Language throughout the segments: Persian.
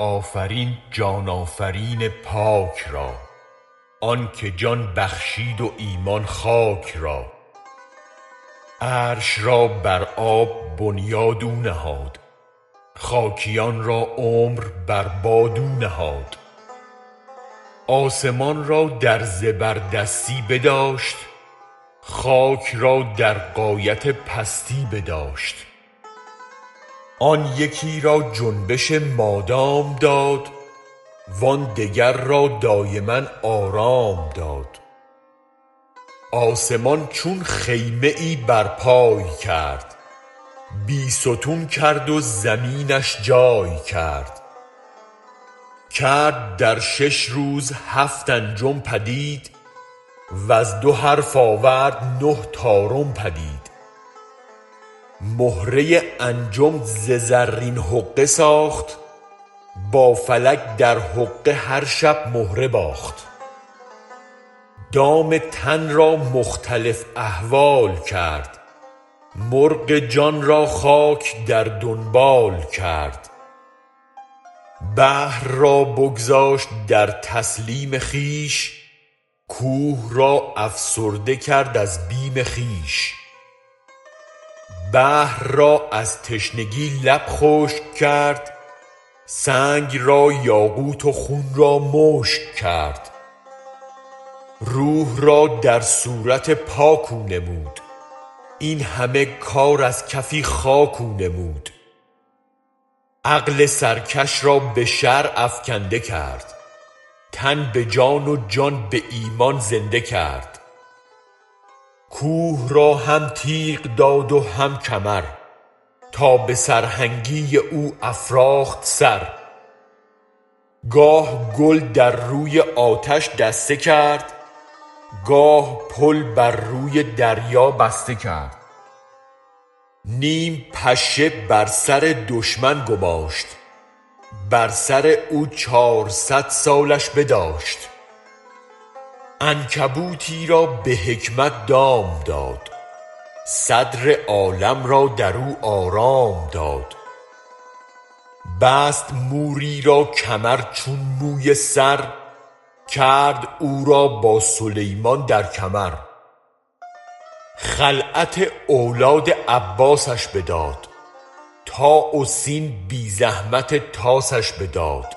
آفرین جان آفرین پاک را آن که جان بخشید و ایمان خاک را عرش را بر آب بنیاد او نهاد خاکیان را عمر بر باد او نهاد آسمان را در زبردستی بداشت خاک را در غایت پستی بداشت آن یکی را جنبش مادام داد وان دگر را دایما آرام داد آسمان چون خیمه ای برپای کرد بی ستون کرد و زمینش جای کرد کرد در شش روز هفت انجم پدید وز دو حرف آورد نه طارم پدید مهره انجم ز زرین حقه ساخت با فلک در حقه هر شب مهره باخت دام تن را مختلف احوال کرد مرغ جان را خاک در دنبال کرد بحر را بگذاشت در تسلیم خویش کوه را افسرده کرد از بیم خویش بحر را از تشنگی لب خشک کرد سنگ را یاقوت و خون را مشک کرد روح را در صورت پاک او نمود این همه کار از کفی خاک او نمود عقل سرکش را به شرع افکنده کرد تن به جان و جان به ایمان زنده کرد کوه را هم تیغ داد و هم کمر تا به سرهنگی او افراخت سر گاه گل در روی آتش دسته کرد گاه پل بر روی دریا بسته کرد نیم پشه بر سر دشمن گماشت بر سر او چارصد سالش بداشت عنکبوتی را به حکمت دام داد صدر عالم را درو آرام داد بست موری را کمر چون موی سر کرد او را با سلیمان در کمر خلعت اولاد عباسش بداد طاء و سین بی زحمت طاسش بداد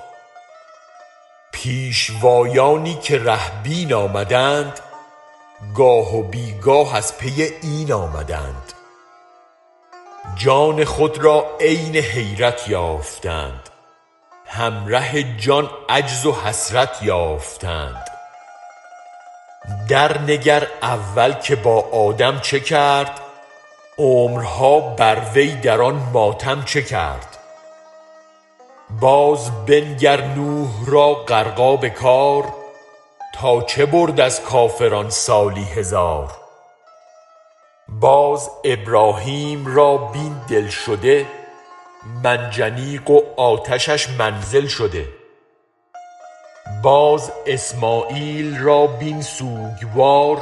پیشوایانی که ره بین آمدند گاه و بی گاه از پی این آمدند جان خود را عین حیرت یافتند هم ره جان عجز و حسرت یافتند در نگر اول که با آدم چه کرد عمرها بر وی در آن ماتم چه کرد باز بنگر نوح را غرقاب کار تا چه برد از کافران سالی هزار باز ابراهیم را بین دل شده منجنیق و آتشش منزل شده باز اسمعیل را بین سوگوار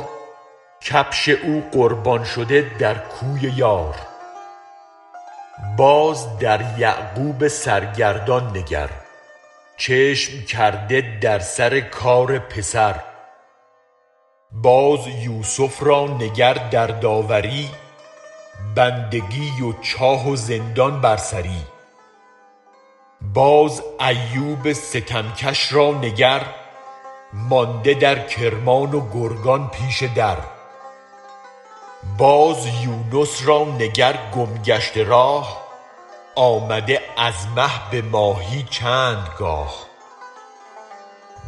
کبش او قربان شده در کوی یار باز در یعقوب سرگردان نگر چشم کرده در سر کار پسر باز یوسف را نگر در داوری بندگی و چاه و زندان بر سری باز ایوب ستمکش را نگر مانده در کرمان و گرگان پیش در باز یونس را نگر گم گشته راه آمده از مه به ماهی چند گاه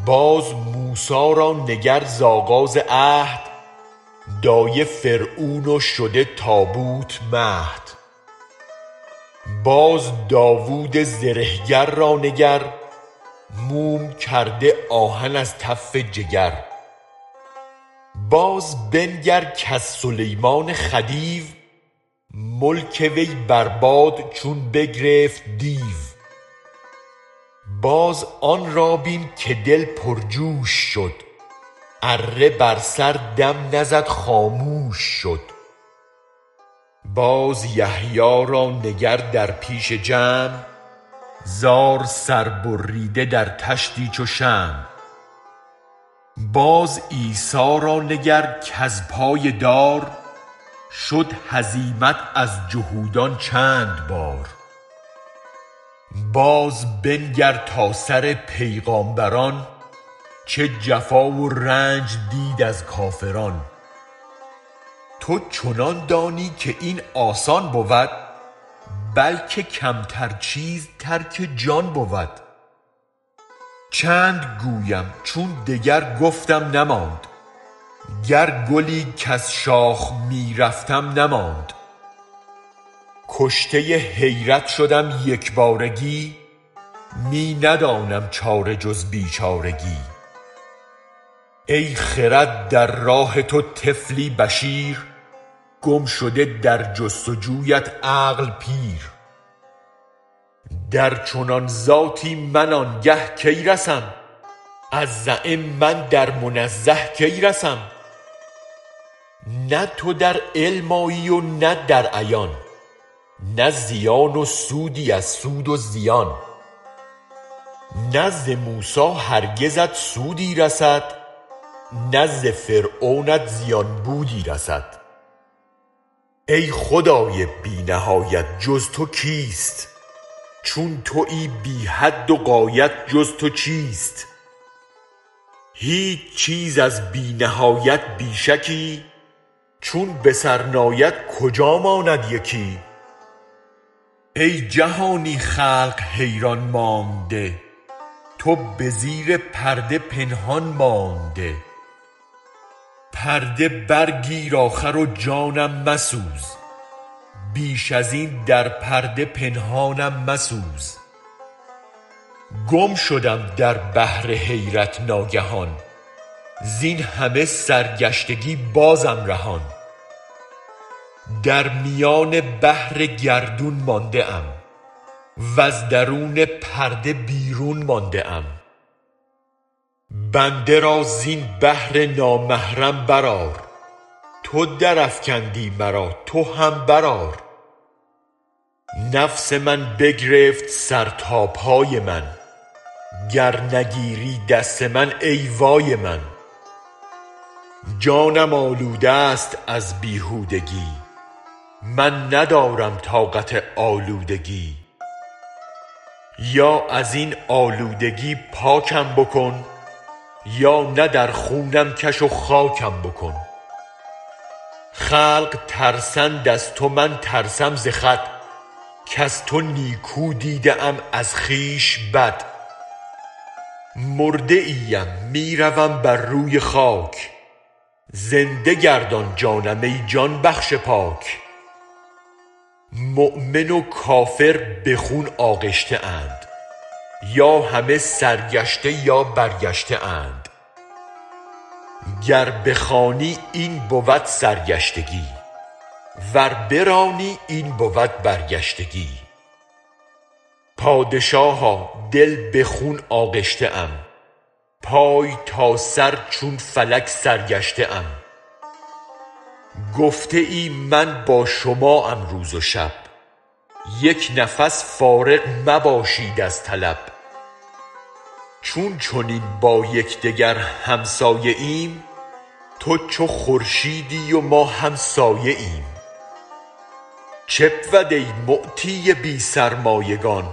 باز موسی را نگر ز آغاز عهد دایه فرعون و شده تابوت مهد باز داود زره گر را نگر موم کرده آهن از تف جگر باز بنگر کز سلیمان خدیو ملک وی بر باد چون بگرفت دیو باز آن را بین که دل پرجوش شد اره بر سر دم نزد خاموش شد باز یحیی را نگر در پیش جمع زار سر ببریده در طشتی چو شمع باز عیسی را نگر کز پای دار شد هزیمت از جهودان چند بار باز بنگر تا سر پیغمبران چه جفا و رنج دید از کافران تو چنان دانی که این آسان بود بلکه کمتر چیز ترک جان بود چند گویم چون دگر گفتم نماند گر گلی کز شاخ می رفتم نماند کشته حیرت شدم یک بارگی می ندانم چاره جز بی چارگی ای خرد در راه تو طفلی بشیر گم شده در جست و جویت عقل پیر در چنان ذاتی من آنگه کی رسم از زعم من در منزه کی رسم نه تو در علم آیی و نه در عیان نی زیان و سودی از سود و زیان نه ز موسی هرگزت سودی رسد نه ز فرعونت زیان بودی رسد ای خدای بی نهایت جز تو کیست چون تویی بی حد و غایت جز تو چیست هیچ چیز از بی نهایت بی شکی چون به سر ناید کجا ماند یکی ای جهانی خلق حیران مانده تو به زیر پرده پنهان مانده پرده برگیر آخر و جانم مسوز بیش ازین در پرده پنهانم مسوز گم شدم در بحر حیرت ناگهان زین همه سرگشتگی بازم رهان در میان بحر گردون مانده ام وز درون پرده بیرون مانده ام بنده را زین بحر نامحرم برآر تو درافکندی مرا تو هم برآر نفس من بگرفت سر تا پای من گر نگیری دست من ای وای من جانم آلودست از بیهودگی من ندارم طاقت آلودگی یا ازین آلودگی پاکم بکن یا نه در خونم کش و خاکم بکن خلق ترسند از تو من ترسم ز خود کز تو نیکو دیده ام از خویش بد مرده ای ام می روم بر روی خاک زنده گردان جانم ای جان بخش پاک مؤمن و کافر به خون آغشته اند یا همه سرگشته یا برگشته اند گر بخوانی این بود سرگشتگی ور برانی این بود برگشتگی پادشاها دل به خون آغشته ام پای تا سر چون فلک سرگشته ام گفته ای من با شما ام روز و شب یک نفس فارغ مباشید از طلب چون چنین با یکدگر همسایه ایم تو چو خورشیدی و ما هم سایه ایم چه بود ای معطی بی سرمایگان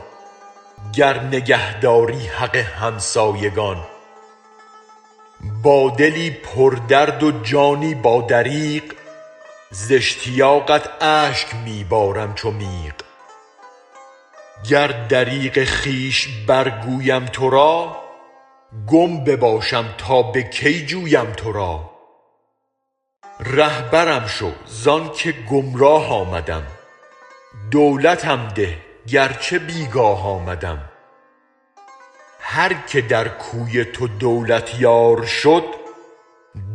گر نگه داری حق همسایگان با دلی پر درد و جانی با دریغ ز اشتیاقت اشک می بارم چو میغ گر دریغ خویش برگویم تو را گم بباشم تا به کی جویم تو را رهبرم شو زان که گمراه آمدم دولتم ده گر چه بی گاه آمدم هر که در کوی تو دولت یار شد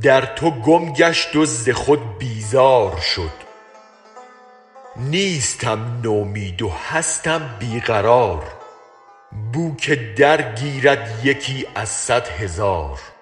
در تو گم گشت و ز خود بیزار شد نیستم نومید و هستم بی قرار بوک درگیرد یکی از صد هزار